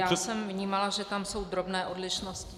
Já jsem vnímala, že tam jsou drobné odlišnosti.